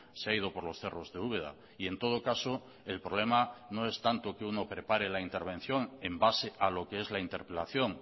se ha ido por los cerros de úbeda y en todo caso el problema no es tanto que uno prepare la intervención en base a lo que es la interpelación